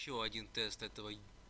ещё один тест этого